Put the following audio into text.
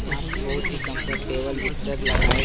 यहाँ पर बहुत ही कम्फर्टेबले बिस्तर लगाए --